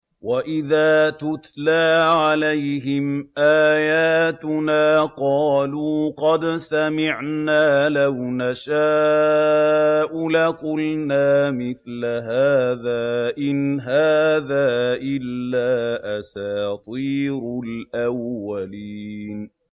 وَإِذَا تُتْلَىٰ عَلَيْهِمْ آيَاتُنَا قَالُوا قَدْ سَمِعْنَا لَوْ نَشَاءُ لَقُلْنَا مِثْلَ هَٰذَا ۙ إِنْ هَٰذَا إِلَّا أَسَاطِيرُ الْأَوَّلِينَ